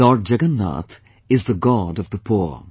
Lord Jagannath is the God of the poor